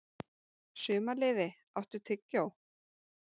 Sumarliði, áttu tyggjó?